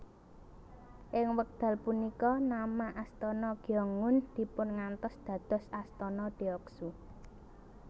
Ing wekdal punika nama Astana Gyeongun dipungantos dados Astana Deoksu